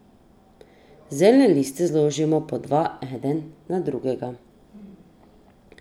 Zeljne liste zložimo po dva enega na drugega.